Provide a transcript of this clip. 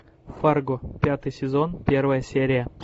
фарго пятый сезон первая серия